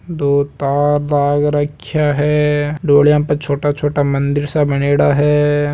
दो तार लाग राख्या है डोलिया पे छोटा छोटा मंदिर सा बनयोडा है।